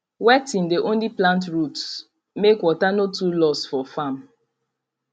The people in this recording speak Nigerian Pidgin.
wetting dey only plant roots make water no too loss for farm